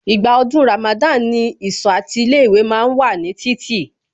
Ìgbà ọdún Ramada ni ìsọ̀ àti ilé ìwé ma ń wà ní títì